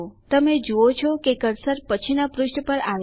તમે જુઓ છો કે કર્સર પછીના પુષ્ઠ પર આવે છે